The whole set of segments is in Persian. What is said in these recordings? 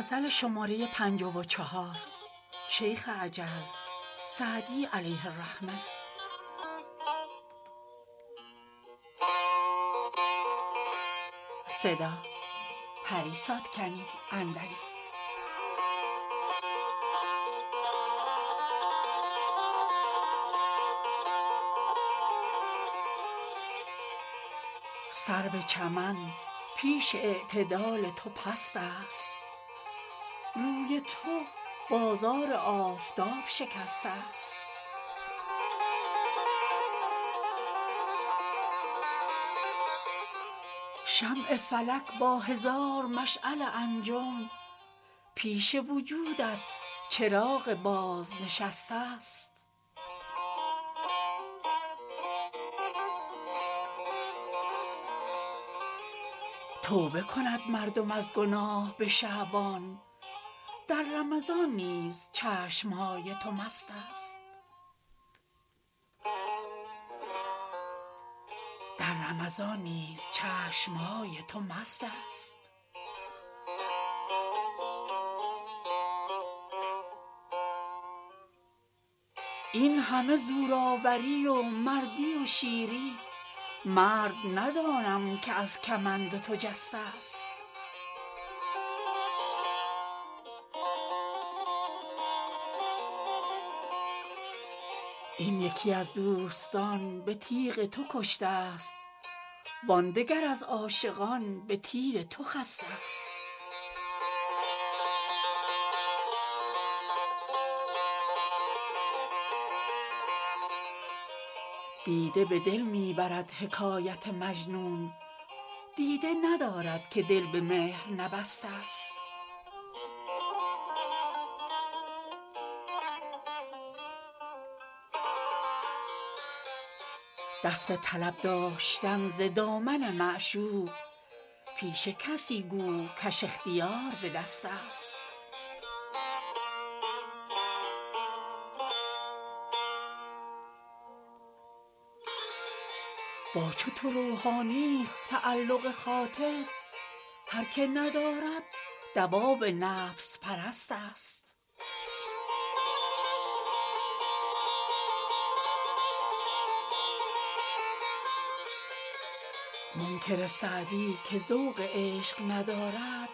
سرو چمن پیش اعتدال تو پست است روی تو بازار آفتاب شکسته ست شمع فلک با هزار مشعل انجم پیش وجودت چراغ بازنشسته ست توبه کند مردم از گناه به شعبان در رمضان نیز چشم های تو مست است این همه زورآوری و مردی و شیری مرد ندانم که از کمند تو جسته ست این یکی از دوستان به تیغ تو کشته ست وان دگر از عاشقان به تیر تو خسته ست دیده به دل می برد حکایت مجنون دیده ندارد که دل به مهر نبسته ست دست طلب داشتن ز دامن معشوق پیش کسی گو کش اختیار به دست است با چو تو روحانیی تعلق خاطر هر که ندارد دواب نفس پرست است منکر سعدی که ذوق عشق ندارد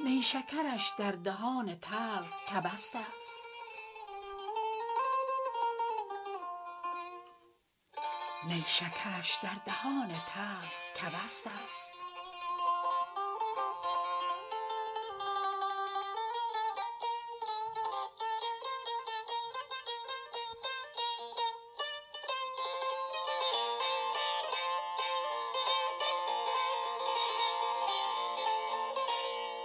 نیشکرش در دهان تلخ کبست است